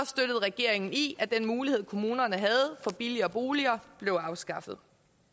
støttet regeringen i at den mulighed kommunerne havde for billigere boliger blev afskaffet